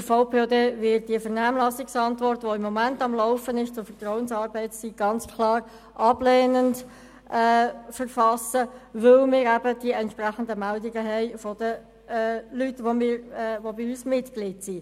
Der VPOD wird die Vernehmlassungsantwort, die momentan zur Vertrauensarbeitszeit im Umgang ist, ganz klar ablehnend verfassen, weil wir entsprechende Meldungen von Personen erhalten, die bei uns Mitglied sind.